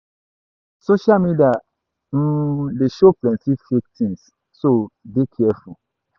social media um dey show plenty fake things, so dey careful